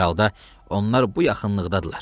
Hər halda onlar bu yaxınlıqdadırlar.